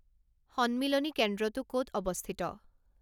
সন্মিলনী কেন্দ্ৰটো ক’ত অৱস্থিত